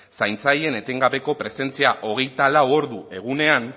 zaintzaileen etengabeko presentzia hogeita lau ordu egunean